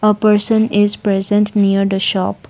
a person is present near the shop.